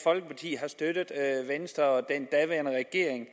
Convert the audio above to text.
folkeparti har støttet venstre og den daværende regering